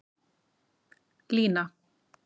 Lína